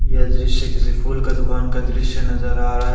यह दृश्य किसी फूल का दुकान का दृश्य नजर आ रहा है।